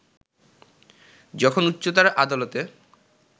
যখন উচ্চতর আদালতে